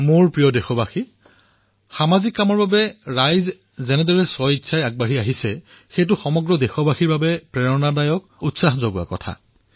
মোৰ মৰমৰ দেশবাসীসকল সামাজিক কাৰ্যৰ বাবে যিদৰে লোকসকল ওলাই আহিছে স্বেচ্ছাসেৱী হৈছে সেয়া দেশৰ বাবেই প্ৰেৰণাদায়ক কাৰ্য হিচাপে বিবেচিত হৈছে